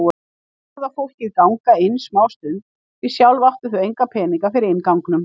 Þau horfðu á fólkið ganga inn smástund, því sjálf áttu þau enga peninga fyrir innganginum.